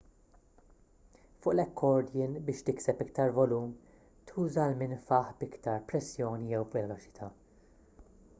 fuq l-accordion biex tikseb iktar volum tuża l-minfaħ b'iktar pressjoni jew veloċità